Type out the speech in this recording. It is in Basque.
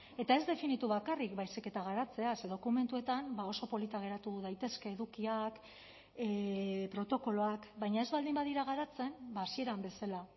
eta ez definitu bakarrik baizik eta garatzea ze dokumentuetan oso polita geratu daitezke edukiak protokoloak baina ez baldin badira garatzen hasieran bezala